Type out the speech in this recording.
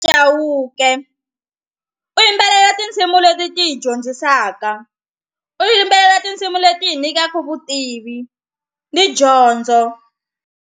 Chauke u yimbelela tinsimu leti ti hi dyondzisaka u yimbelela tinsimu leti hi nyikaka vutivi ni dyondzo.